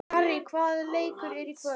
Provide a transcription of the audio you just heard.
Harrý, hvaða leikir eru í kvöld?